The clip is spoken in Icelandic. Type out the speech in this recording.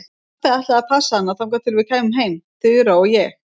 Pabbi ætlaði að passa hana þangað til við kæmum heim, Þura og ég.